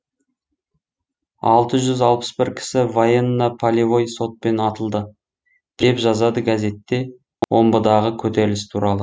алты жүз алпыс бір кісі военно полевой сотпен атылды деп жазады газетте омбыдағы көтеріліс туралы